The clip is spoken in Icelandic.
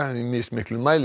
í mismiklum mæli